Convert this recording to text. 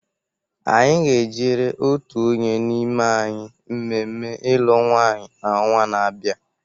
Anyị ga-ejere otu onye n'ime anyị mmemme ilu nwanyi n'ọnwa na-abịa.